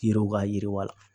Yiriw ka yiriwa